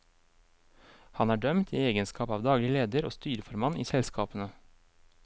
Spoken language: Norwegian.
Han er dømt i egenskap av daglig leder og styreformann i selskapene.